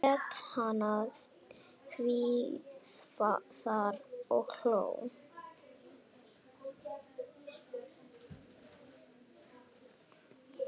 Lét hana hvíla þar og hló.